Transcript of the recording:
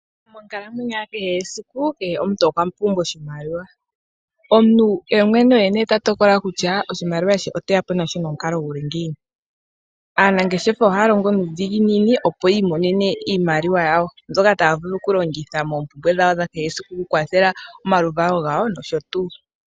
Monkalamwenyo ya kehe esiku, kehe omuntu okwa pumbwa oshimaliwa. Omuntu ye mwene oye nee ta tokola kutya oshimaliwa she oteya po nasho nomukalo guli ngiini. Aanangeshefa ohaya longo nuudhiginini opo yi imonene iimaliwa yawo mbyoka taa vulu okulongitha moompumbwe dhawo dha kehe siku okukwathela omaluvalo gawo nosho tuu.